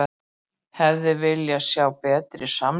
Hefði viljað sjá betri samning